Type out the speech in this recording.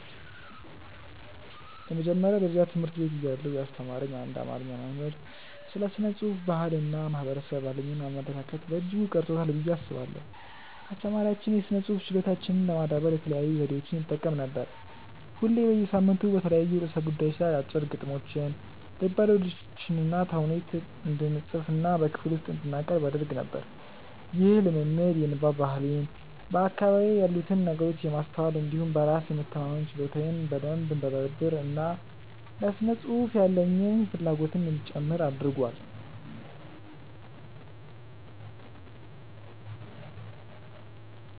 የመጀመሪያ ደረጃ ትምህርት ቤት እያለሁ ያስተማረኝ አንድ አማርኛ መምህር ስለ ስነ ጽሁፍ፣ ባህል እና ማህበረሰብ ያሉኝን አመለካከት በእጅጉ ቀርጾታል ብዬ አስባለሁ። አስተማሪያችን የስነ ጽሁፍ ችሎታችንን ለማዳበር የተለያዩ ዘዴዎችን ይጠቀም ነበር። ሁሌ በየሳምንቱ በተለያዩ ርዕሰ ጉዳዮች ላይ አጫጭር ግጥሞችን፣ ልቦለዶችንና ተውኔት እንድንፅፍና በክፍል ውስጥ እንድናቀርብ ያደርግ ነበር። ይህ ልምምድ የንባብ ባህሌን፣ በአካባቢዬ ያሉትን ነገሮች የማስተዋል እንዲሁም በራስ የመተማመን ችሎታዬን በደንብ እንዳዳብር እና ለስነ ጽሁፍ ያለኝን ፍላጎትም እንዲጨምር አድርጓል።